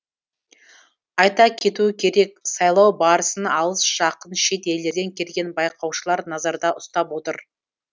айта кету керек сайлау барысын алыс жақын шет елдерден келген байқаушылар назарда ұстап отыр